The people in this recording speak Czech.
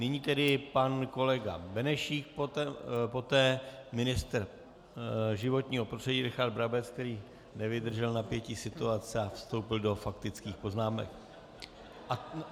Nyní tedy pan kolega Benešík, poté ministr životního prostředí Richard Brabec, který nevydržel napětí situace a vstoupil do faktických poznámek.